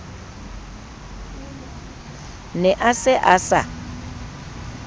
ne a se a sa